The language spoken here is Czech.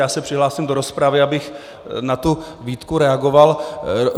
Já se přihlásím do rozpravy, abych na tu výtku reagoval.